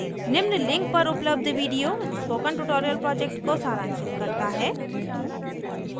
निम्न लिंक पर उपलब्ध वीडिओ स्पोकन ट्यूटोरियल प्रोजेक्ट को सारांशित करता है